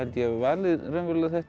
ég valið þetta